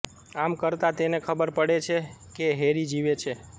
આમ કરતા તેને ખબર પડે છે કે હેરી જીવે છે